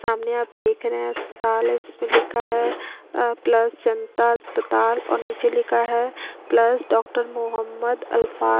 सामने आप देख रहे है अस्पताल है जिसमे लिखा है प्लस जनता अस्पताल और नीचे लिखा है प्लस मोहम्मद अल्फ़ा--